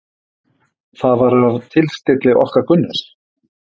Það var fyrir tilstilli okkar Gunnars